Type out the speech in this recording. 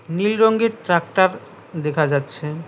নীল রঙ্গের ট্রাক্টর দেখা যাচ্ছে।